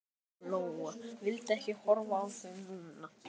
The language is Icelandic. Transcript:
Lóa Lóa vildi ekki horfa í þau núna.